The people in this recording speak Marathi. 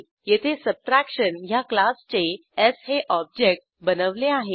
येथे सबट्रॅक्शन ह्या क्लासचे स् हे ऑब्जेक्ट बनवले आहे